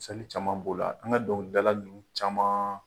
caman b'o la, an ka dɔnkilidala ninnu caman